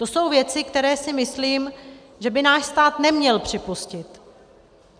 To jsou věci, které si myslím, že by náš stát neměl připustit.